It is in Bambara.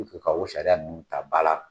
ka o sariya ninnu ta ba la